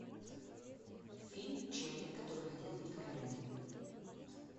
фильм человек который хотел быть королем